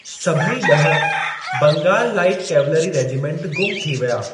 सभई ॾह Bengal light cavalry regiment गुम थी विया।